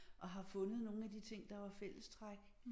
Og har fundet nogle af de ting der var fællestræk